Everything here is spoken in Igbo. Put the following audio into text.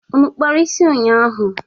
Unu kpara isi ụnyaahụ?